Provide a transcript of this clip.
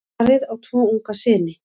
Parið á tvo unga syni.